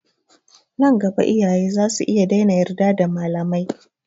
Nan gaba iyaye zasu iya daina yarda da malamai.